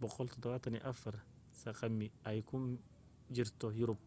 174 sq mi ay ku jirto yurub